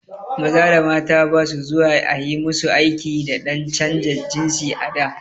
Maza da mata ba su zuwa ayi musu aiki dan canja jinsi a da